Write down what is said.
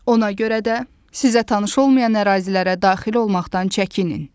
Ona görə də sizə tanış olmayan ərazilərə daxil olmaqdan çəkinin.